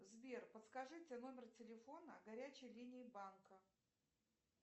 сбер подскажите номер телефона горячей линии банка